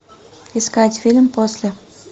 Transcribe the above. искать фильм после